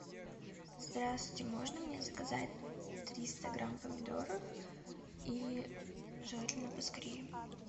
здравствуйте можно мне заказать триста грамм помидоров и желательно поскорее